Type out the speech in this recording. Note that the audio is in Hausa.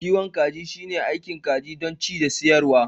kiwon kaji shine aikin kiwon kaji don ci da siyarwa